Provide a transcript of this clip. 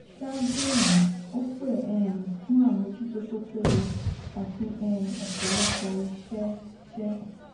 ṣáájú èyí ó pè um fún àmójútó tó péye àti um ọpọlọpọ iṣẹ iṣẹ